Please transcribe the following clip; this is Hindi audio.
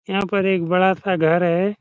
यहाँ पर एक बड़ा-सा घर है।